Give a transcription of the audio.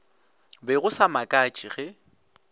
be go sa makatše ge